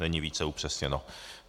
Není více upřesněno.